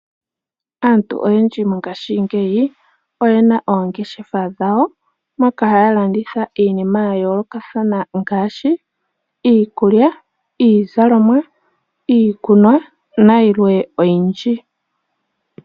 Aantu oyendji mongaashingeyi oyena oongeshefa dhawo moka haya landitha iinima yayoolokathana ngaashi iikulya, iizalomwa, iikunwa na yilwe oyindji.